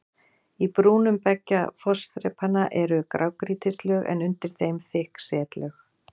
Í brúnum beggja fossþrepanna eru grágrýtislög en undir þeim þykk setlög.